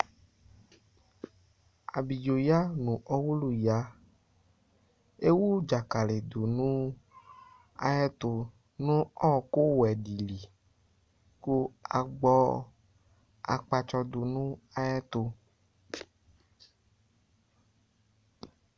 Ablidzoya ɔwuluya ewu dzakali du nu ayɛtu , nu ɔwɔku wɛ dili Ku agbɔ akpatsɔ du ayɛtu